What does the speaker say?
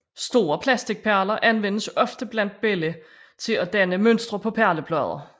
Store plasticperler anvendes ofte blandt børn til at danne mønstre på perleplader